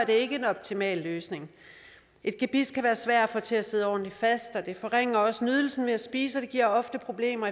ikke en optimal løsning et gebis kan være svært at få til at sidde ordentligt fast og det forringer også nydelsen ved at spise og det giver ofte problemer